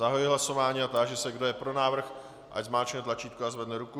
Zahajuji hlasování a táži se, kdo je pro návrh, ať zmáčkne tlačítko a zvedne ruku.